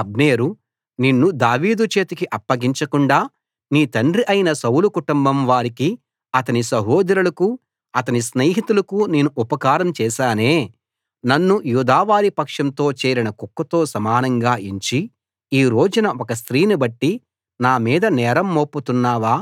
అబ్నేరు నిన్ను దావీదు చేతికి అప్పగించకుండా నీ తండ్రి అయిన సౌలు కుటుంబం వారికీ అతని సహోదరులకూ అతని స్నేహితులకూ నేను ఉపకారం చేశానే నన్ను యూదావారి పక్షంతో చేరిన కుక్కతో సమానంగా ఎంచి ఈ రోజున ఒక స్త్రీని బట్టి నా మీద నేరం మోపుతున్నావా